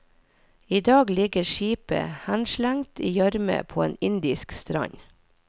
I dag ligger skipet henslengt i gjørme på en indisk strand.